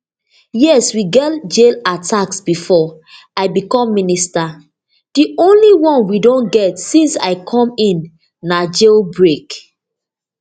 yes we get jail attacks bifor i become minister di only one we don get since i come in na jail break